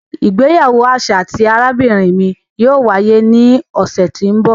Ìgbéyàwó aṣa ti arabinrin mi yóò waye ni ọsẹ ti n bọ.